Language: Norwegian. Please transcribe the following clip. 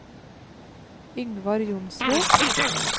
Yngvar Johnsrud